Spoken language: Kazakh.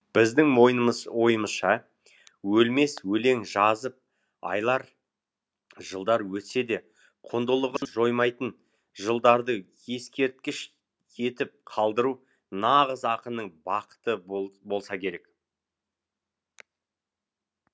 біздің ойымызша өлмес өлең жазып айлар жылдар өтсе де құндылығын жоймайтын жыларды ескерткіш етіп қалдыру нағыз ақынның бақыты болса керек